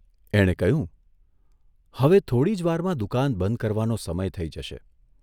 એણે કહ્યું, હવે થોડી જ વારમાં દુકાન બંધ કરવાનો સમય થઇ જશે.